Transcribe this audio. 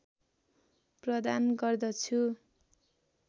प्रदान गर्दछु